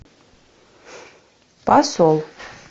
посол